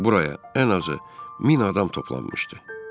Buraya ən azı min adam toplanmışdı.